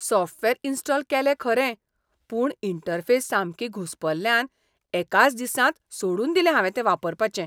Software install केलें खरें, पूण इंटरफेस सामकी घुस्पल्ल्यान एकाच दिसांत सोडून दिलें हावें तें वापरपाचें.